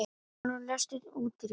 Arnúlfur, læstu útidyrunum.